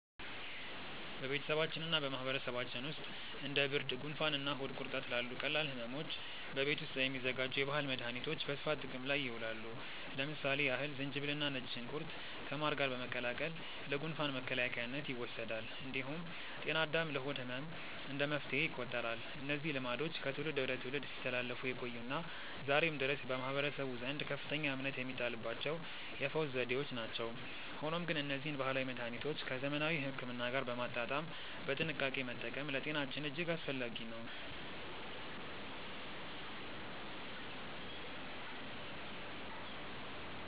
በቤተሰባችንና በማህበረሰባችን ውስጥ እንደ ብርድ፣ ጉንፋንና ሆድ ቁርጠት ላሉ ቀላል ሕመሞች በቤት ውስጥ የሚዘጋጁ የባህል መድኃኒቶች በስፋት ጥቅም ላይ ይውላሉ። ለምሳሌ ያህል ዝንጅብልና ነጭ ሽንኩርት ከማር ጋር በመቀላቀል ለጉንፋን መከላከያነት ይወሰዳል። እንዲሁም ጤና አዳም ለሆድ ህመም እንደ መፍትሄ ይቆጠራሉ። እነዚህ ልማዶች ከትውልድ ወደ ትውልድ ሲተላለፉ የቆዩና ዛሬም ድረስ በማህበረሰቡ ዘንድ ከፍተኛ እምነት የሚጣልባቸው የፈውስ ዘዴዎች ናቸው። ሆኖም ግን እነዚህን ባህላዊ መድኃኒቶች ከዘመናዊ ሕክምና ጋር በማጣጣም በጥንቃቄ መጠቀም ለጤናችን እጅግ አስፈላጊ ነው።